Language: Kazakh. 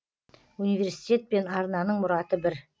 университет пен арнаның мұраты бір